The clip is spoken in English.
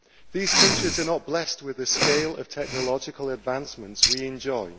These countries are not blessed with the scale of technological advancements we enjoy.